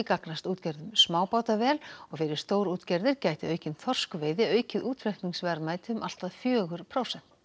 gagnast útgerðum smábáta vel og fyrir stórútgerðir gæti aukin þorskveiði aukið útflutningsverðmæti um allt að fjögur prósent